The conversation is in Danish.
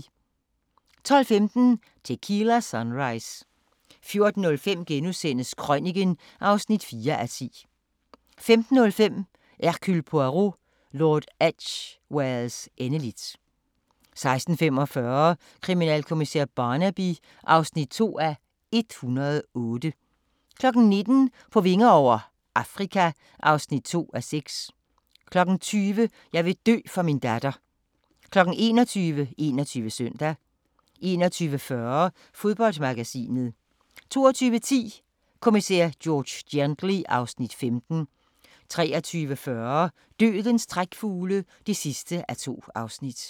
12:15: Tequila Sunrise 14:05: Krøniken (4:10)* 15:05: Hercule Poirot: Lord Edgwares endeligt 16:45: Kriminalkommissær Barnaby (2:108) 19:00: På vinger over - Afrika (2:6) 20:00: Jeg vil dø for min datter 21:00: 21 Søndag 21:40: Fodboldmagasinet 22:10: Kommissær George Gently (Afs. 15) 23:40: Dødens trækfugle (2:2)